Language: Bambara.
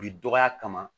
Bi dɔgɔya kama